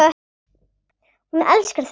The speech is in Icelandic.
Hún elskar þetta lag!